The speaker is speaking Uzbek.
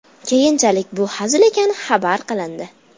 Keyinchalik bu hazil ekani xabar qilindi.